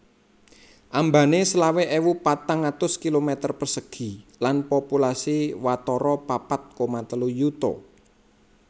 Ambané selawe ewu patang atus kilometer persegi lan populasi watara papat koma telu yuta